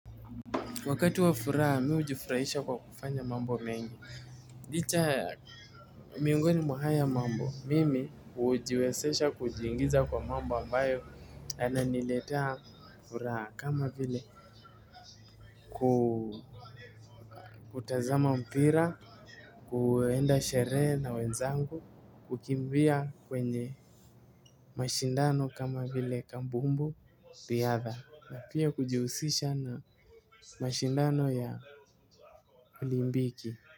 Wakatu wa furaha, mi hujifurahisha kwa kufanya mambo mengi. Licha ya miongoni mwa haya mambo. Mimi hujiwezesha kujiingiza kwa mambo ambayo yananiletea furaha kama vile kutazama mpira, kuenda sherehe na wenzangu, kukimbia kwenye mashindano kama vile kabumbu, riadha. Pia kujihusisha na mashindano ya olimpiki.